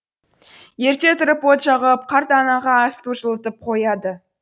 ерте тұрып от жағып қарт анаға ас су жылытып қояды